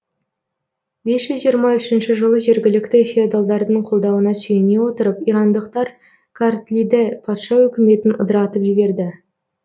бес жүз жиырма үшінші жылы жергілікті феодалдардың қолдауына сүйене отырып ирандықтар картлиде патша өкіметін ыдыратып жіберді